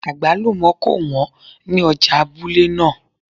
Àgbálùmọ́ kò wọ́n ní ọjà abúlé náà